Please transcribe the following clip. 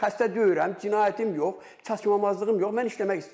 Xəstə deyiləm, cinayətim yox, çatışmamazlığım yox, mən işləmək istəyirəm.